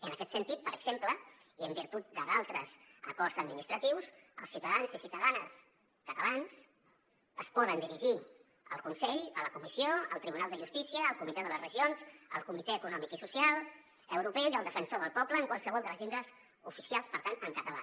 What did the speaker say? en aquest sentit per exemple i en virtut d’altres acords administratius els ciutadans i ciutadanes catalans es poden dirigir al consell a la comissió al tribunal de justícia al comitè de les regions al comitè econòmic i social europeu i al defensor del poble en qualsevol de les llengües oficials per tant en català